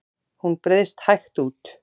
Hún breiðst hægt út.